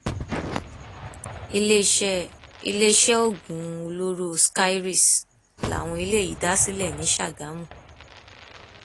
iléeṣẹ iléeṣẹ oògùn olóró skyries làwọn eléyìí dá sílẹ ní sàgámù